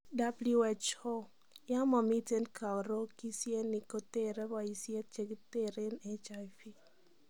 W.H.O :Yamamiten karokishyeenik koteree bayisheet chekitereen HIV